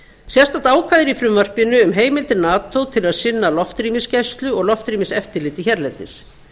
sérstakt ákvæði er í frumvarpinu um heimildir nato til að sinna loftrýmiseftirliti hérlendis